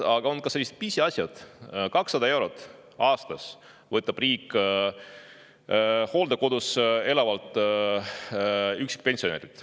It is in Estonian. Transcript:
Aga on ka selline pisiasi, et 200 eurot aastas võtab riik ära hooldekodus elavalt üksikult pensionärilt.